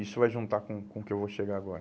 Isso vai juntar com o com o que eu vou chegar agora.